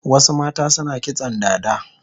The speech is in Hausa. Wasu mata suna kitson dada